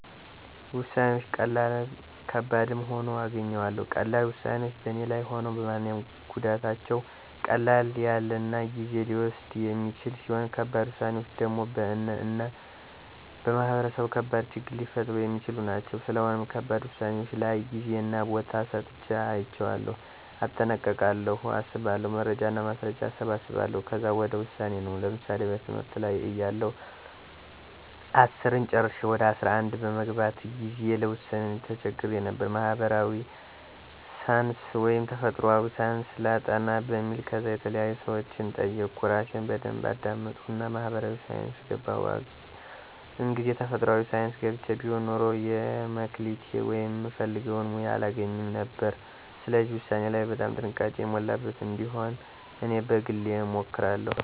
ውሳነወች ቀላልም ከባድም ሁኖ አገኘዋለሁ። ቀላል ውሳኔወች በኔ ላይም ሆነ በማንኛውም ጎዳታቸው ቀለል ያለናጊዜ ሊወስዱየ የማይችሉ ሲሆኑ ከባድ ውሳኔወች ደሞ በእነ እና በማህበረሰቡ ከባድ ችግር ሊፈጥሩ የሚችሉ ናቸው። ስለሆነም ከባድ ውሳኔወች ላይ ጌዜና ቦታ ሰጥቸ አያቸዋለሁ። እጠነቀቃለሁ አስባለሁ። መረጃና ማስረጃ አሰባስባለሁ ከዛ ወደ ውሳኔ ነው። ለምሳሌ በትምህርት ላይ እያለሁ አስርን ጨረሸ ወደ አስራ አንድ በምገባበት ጊዜ ለውሳኔ ተቸግሬ ነበር። ማህበራዊ ሳንስ ወይስ ተፈጥሮአዊ ሳንስ ላጥና በሚል። ከዛ የተለያዩ ሰወችን ጠየቅሁ እራሴን በደንብ አዳመጥሁና ማህበራዊ ሳይንስ ገባሁ። እንግዜ ተፈጥሯአዊ ሳንስ ገብቸ ቢሆን ኑሮ የለ መክሊቴ ወይም ምፈልገውን ሙያ አላገኝም ነበር። ስለዚህ ውሳኔ ላይ በጣም ጥንቃቄ የሞላበት እንዲሆን እኔ በግሌ እመክራለሁ